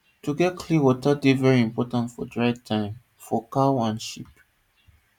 to get clean water dey very important for dry time for cow and sheep